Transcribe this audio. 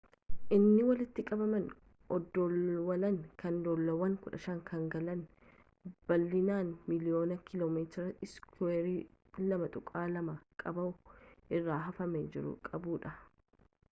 inni walitti qabama oddoloawwanii kanoddolawwan 15 kan galaana bal'ina miliiyoona kilomeetir iskuweer 2.2 qabuu irra hafamee jiru qabuudha